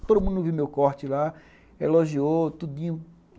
Todo mundo viu meu corte lá, elogiou, tudinho.